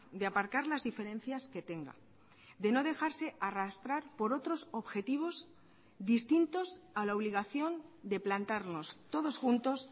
de aparcar las diferencias que tenga de no dejarse arrastrar por otros objetivos distintos a la obligación de plantarnos todos juntos